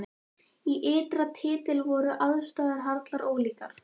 Í ytra tilliti voru aðstæður harla ólíkar.